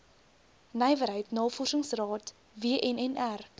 nywerheid navorsingsraad wnnr